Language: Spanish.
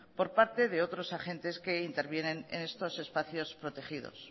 por parte de otros agentes que intervienen en estos espacios protegidos